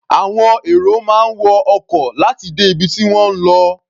Àwọn èrò máa ń wọ ọkọ̀ láti dé ibi tí wọ́n ń lọ.